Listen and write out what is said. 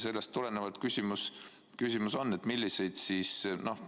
Sellest tulenevalt on mul selline küsimus.